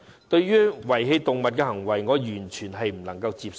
對於遺棄動物的行為，我完全不能接受。